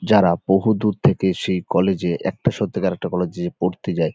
যারা বহুদূর থেকে সেই কলেজ -এ একটা সত্যিকারের একটা কলেজ -এ পড়তে যায়--